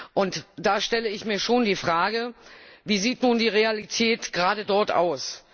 Und da stelle ich mir schon die Frage Wie sieht nun die Realität gerade dort aus?